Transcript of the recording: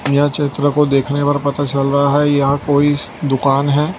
यह चित्र को देखने पर पता चल रहा है यहां कोई दुकान है।